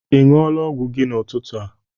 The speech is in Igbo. Ị ṅụọla ọgwụ gị n'ụtụtụ a?